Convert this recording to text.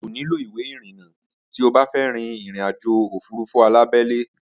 O kò nílò ìwé ìrìnnà tí o bá fẹ́ rín ìrìnàjò òfurufú alábẹ́lé